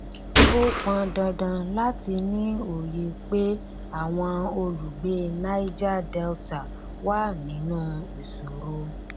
ó pọn dandan láti ní òye pé àwọn olùgbé niger delta wà nínú ìṣòro